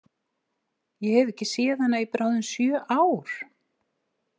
Ég hef ekki séð hana í bráðum sjö ár.